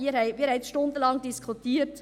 Wir haben nun stundenlang diskutiert.